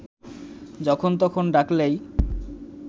যখন তখন ডাকলেই